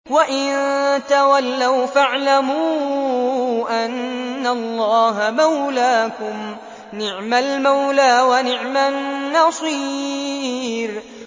وَإِن تَوَلَّوْا فَاعْلَمُوا أَنَّ اللَّهَ مَوْلَاكُمْ ۚ نِعْمَ الْمَوْلَىٰ وَنِعْمَ النَّصِيرُ